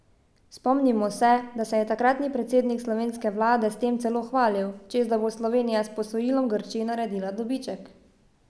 Spomnimo se, da se je takratni predsednik slovenske vlade s tem celo hvalil, češ da bo Slovenija s posojilom Grčiji naredila dobiček.